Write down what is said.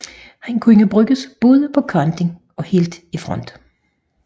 Han kunne bruges både på kanten og helt i front